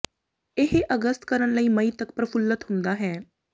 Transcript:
ਇਹ ਅਗਸਤ ਕਰਨ ਲਈ ਮਈ ਤੱਕ ਪਰਫੁੱਲਤ ਹੁੰਦਾ ਹੈ